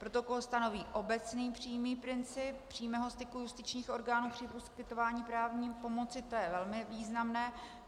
Protokol stanoví obecný přímý princip přímého styku justičních orgánů při poskytování právní pomoci, to je velmi významné.